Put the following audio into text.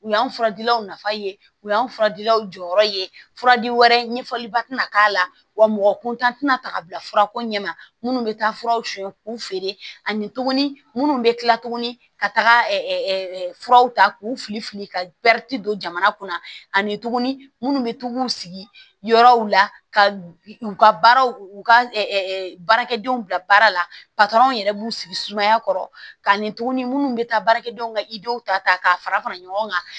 U y'an furadilanw nafa ye u y'an fura dilaw jɔyɔrɔ ye fura di wɛrɛ ɲɛfɔliba tɛna wa mɔgɔ kuntan tɛna ta ka bila furako ɲɛ ma minnu bɛ taa furaw suɲɛ k'u feere ani tuguni minnu bɛ kila tuguni ka taga furaw ta k'u fili fili ka don jamana kunna ani tuguni minnu bɛ to k'u sigi yɔrɔw la ka u ka baaraw u ka baarakɛdenw bila baara la yɛrɛ b'u sigi sumaya kɔrɔ ka nin tuguni minnu bɛ taa baarakɛdenw ka i denw ta k'a fara fara ɲɔgɔn kan